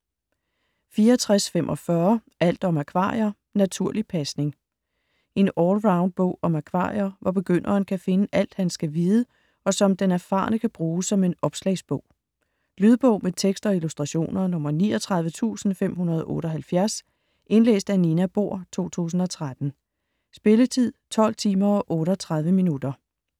64.45 Alt om akvarier - naturlig pasning En allround bog om akvarier, hvor begynderen kan finde alt, han skal vide, og som den erfarne kan bruge som en opslagsbog. Lydbog med tekst og illustrationer 39578 Indlæst af Nina Bohr, 2013. Spilletid: 12 timer, 38 minutter.